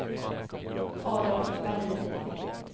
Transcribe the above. Adolf Vallin